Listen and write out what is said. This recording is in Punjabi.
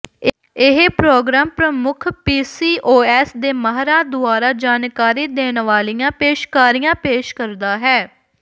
ਇਹ ਪ੍ਰੋਗਰਾਮ ਪ੍ਰਮੁੱਖ ਪੀਸੀਓਐਸ ਦੇ ਮਾਹਰਾਂ ਦੁਆਰਾ ਜਾਣਕਾਰੀ ਦੇਣ ਵਾਲੀਆਂ ਪੇਸ਼ਕਾਰੀਆਂ ਪੇਸ਼ ਕਰਦਾ ਹੈ